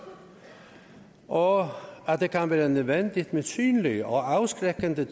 og at det kan være nødvendigt med synlig og og afskrækkende